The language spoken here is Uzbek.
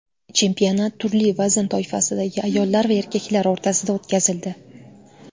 Chempionat turli vazn toifasidagi ayollar va erkaklar o‘rtasida o‘tkazildi.